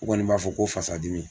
U kɔni b'a fɔ ko fasadimi.